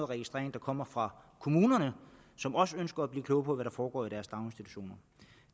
registrering der kommer fra kommunerne som også ønsker at blive kloge på hvad der foregår i deres daginstitutioner